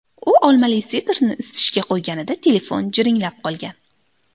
U olmali sidrni isitishga qo‘yganida telefon jiringlab qolgan.